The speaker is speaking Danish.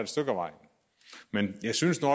stykke ad vejen men jeg synes nu